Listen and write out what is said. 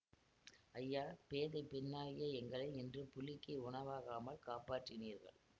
ஐயா பேதை பெண்ணாகிய எங்களை இன்று புலிக்கு உணவாகாமல் காப்பாற்றினீர்கள்